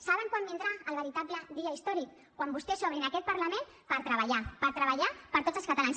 saben quan vindrà el veritable dia històric quan vostès obrin aquest parlament per treballar per treballar per tots els catalans